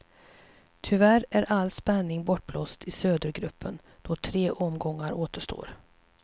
Tyvärr är all spänning bortblåst i södergruppen då tre omgångar återstår.